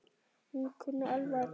Hún kunni alveg að dansa.